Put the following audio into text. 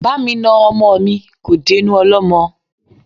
Bámi na ọmọ mi, kò dénú ọlọ́mọ